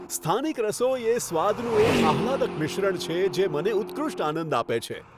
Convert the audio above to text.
સ્થાનિક રસોઈ એ સ્વાદનું એક આહલાદક મિશ્રણ છે, જે મને ઉત્કૃષ્ટ આનંદ આપે છે.